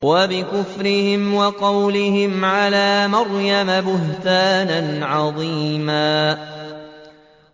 وَبِكُفْرِهِمْ وَقَوْلِهِمْ عَلَىٰ مَرْيَمَ بُهْتَانًا عَظِيمًا